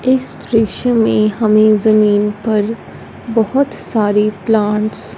इस दृश्य में हमें जमीन पर बहोत सारी प्लांट्स --